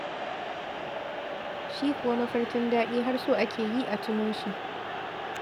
Shi kuwa mafarkin daɗi har so ake yi a tuno shi.